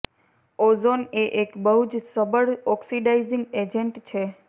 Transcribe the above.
ozone એ એક બહુ જ સબળ ઓક્સિડાઈઝીંગ એજેન્ટ છે